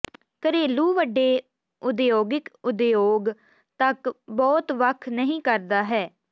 ਘਰੇਲੂ ਵੱਡੇ ਉਦਯੋਗਿਕ ਉਦਯੋਗ ਤੱਕ ਬਹੁਤ ਵੱਖ ਨਹੀ ਕਰਦਾ ਹੈ